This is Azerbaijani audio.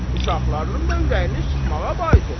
Uşaqlarının da ürəyini sıxmağa bais olursan.